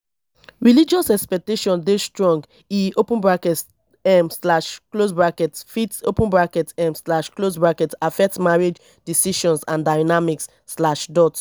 religious expectations dey strong; e um fit um affect marriage decisions and dynamics.